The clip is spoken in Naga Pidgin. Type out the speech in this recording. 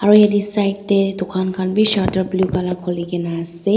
aro yatae side tae dukan khan bi shutter blue colour khulikaena ase.